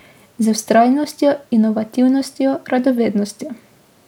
Z vztrajnostjo, inovativnostjo, radovednostjo.